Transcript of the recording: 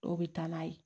Dɔw bɛ taa n'a ye